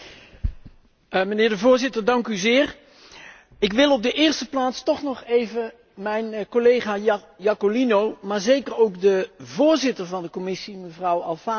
Ik wil op de eerste plaats toch nog even mijn collega Iacolino, maar zeker ook de voorzitter van de commissie, mevrouw Alfano, danken voor het vele werk dat zij verzet hebben.